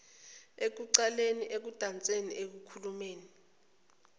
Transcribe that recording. ekuculeni ekudanseni ekukhulumeni